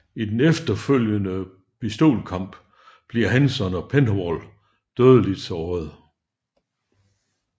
I den efterfølgende pistolkamp bliver Hanson og Penhall dødeligt såret